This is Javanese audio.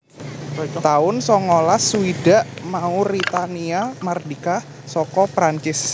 taun songolas swidak Mauritania mardika saka Prancis